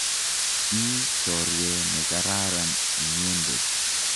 Ii chorwet ne kararan inyendet.